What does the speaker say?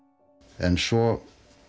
en svo